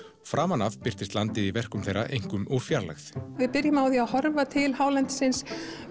framan af birtist landið í verkum þeirra einkum úr fjarlægð við byrjum á að horfa til hálendisins